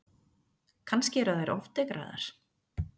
Kannski eru þær ofdekraðar?